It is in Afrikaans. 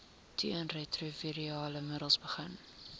teenretrovirale middels begin